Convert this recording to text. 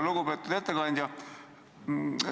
Lugupeetud ettekandja!